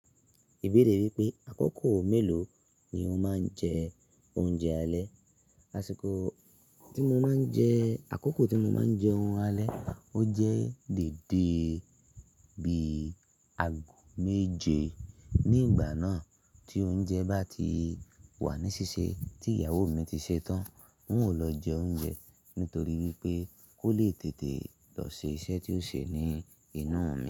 Ìbéèrè yi wípé àkókò mélòó ni o máa ń jẹ oúnjẹ alẹ́. Asiko ti mo ma n je akoko ti mo ma n jeun ale o je dede bi ago meje ni igba naa ti ounje ba ti wa ni sise ti iyawo mi ti se tan hun o lo jeun ye nitoripe wipe ko le tete lo se ise tio se ni inu mi.